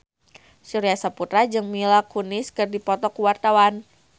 Surya Saputra jeung Mila Kunis keur dipoto ku wartawan